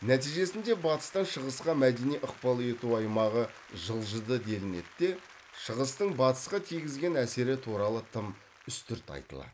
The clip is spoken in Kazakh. нәтижесінде батыстан шығысқа мәдени ықпал ету аймағы жылжыды делінеді де шығыстың батысқа тигізген әсері туралы тым үстірт айтылады